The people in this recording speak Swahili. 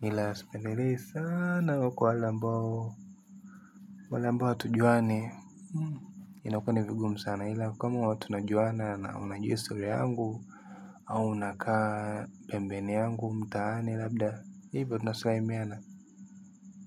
Hila sipendelei sana wako wale ambao wale ambao hatujuani. Inakuwa ni vigumu sana hila kama tunajuana na unajua historia yangu au unakaa pembeni yangu mtaani labda hivyo tunasalimiana.